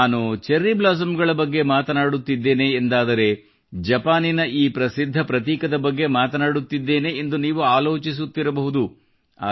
ನಾನು cherry blossom ಗಳ ಬಗ್ಗೆ ಮಾತನಾಡುತ್ತಿದ್ದೇನೆ ಎಂದಾದರೆ ಜಪಾನಿನ ಈ ಪ್ರಸಿದ್ಧ ಪ್ರತೀಕದ ಬಗ್ಗೆ ಮಾತನಾಡುತ್ತಿದ್ದೇನೆ ಎಂದು ನೀವು ಆಲೋಚಿಸುತ್ತಿರಬಹುದು